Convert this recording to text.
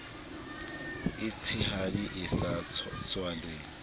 e tshehadi e sa tswaleng